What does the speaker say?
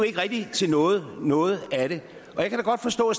til noget noget og jeg kan da godt forstå at